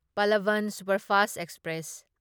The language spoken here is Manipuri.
Pallavan superfast express